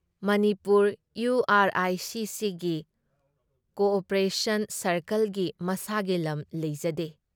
ꯃꯅꯤꯄꯨꯔ ꯏꯌꯨ R I C ꯁꯤꯒꯤ cooperation ꯁꯥꯔꯀꯜꯒꯤ ꯃꯁꯥꯒꯤ ꯂꯝ ꯂꯩꯖꯗꯦ ꯫